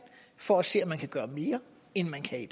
for at se om man kan gøre mere end man kan i